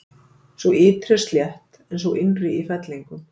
Sú ytri er slétt en sú innri í fellingum.